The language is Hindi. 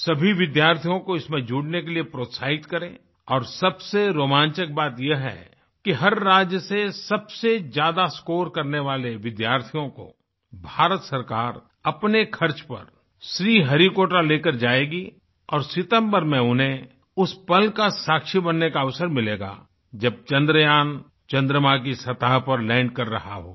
सभी विद्यार्थियों को इसमें जुड़ने के लिए प्रोत्साहित करें और सबसे रोमांचक बात यह है कि हर राज्य से सबसे ज्यादा स्कोर करने वाले विद्यार्थियों को भारत सरकार अपने खर्च पर श्रीहरिकोटा लेकर जाएगी और सितम्बर में उन्हें उस पल का साक्षी बनने का अवसर मिलेगा जब चंद्रयान चंद्रमा की सतह पर लैंड कर रहा होगा